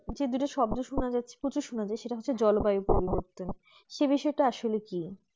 যে দুটো শব্দ শুনা যাচ্ছে প্রচুর সোনা যায় সেটা হচ্ছে জলবায়ু পরিবর্বতন সেই বিষয়টা আসলে কি